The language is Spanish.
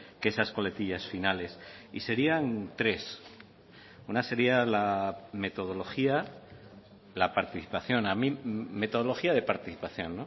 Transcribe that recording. que esas coletillas finales y serían tres una sería la metodología la participación metodología de participación